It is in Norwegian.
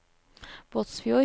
Båtsfjord